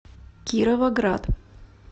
кировоград